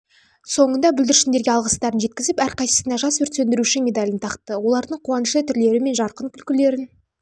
соңында бүлдіршіндерге алғыстарын жеткізіп әрқайсысына жас өрт сөндіруші медалін тақты олардың қуанышты түрлері мен жарқын күлкілерін